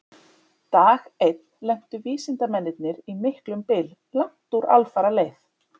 Dag einn lentu vísindamennirnir í miklum byl langt úr alfaraleið.